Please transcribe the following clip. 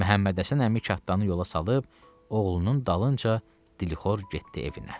Məhəmməd Həsən əmi kənddanı yola salıb oğlunun dalınca dilxor getdi evinə.